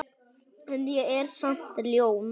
En ég er samt ljón.